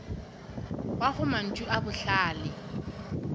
wa gago mantšu a bohlale